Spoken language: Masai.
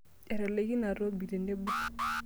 Etalaikine aatobik tenebo.